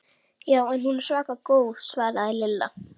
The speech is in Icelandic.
Já, hún er svaka góð svaraði Lilla.